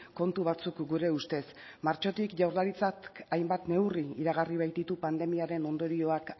kontu batzuk gure ustez martxotik jaurlaritzak hainbat neurri iragarri baititu pandemiaren ondorioak